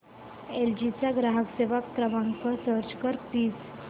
L G चा ग्राहक सेवा क्रमांक सर्च कर प्लीज